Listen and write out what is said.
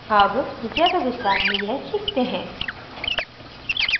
अब ज़्यादा विस्तार में यह सीखते हैं